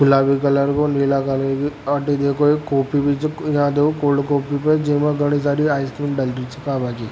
गुलाबी कलर को नीला कलर को जिमे घनी साड़ी आइसक्रीम डल री छे।